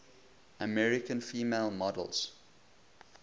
american female models